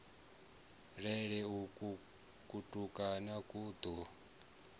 lele uku kutukana ku ḓo